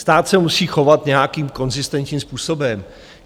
Stát se musí chovat nějakým konzistentním způsobem.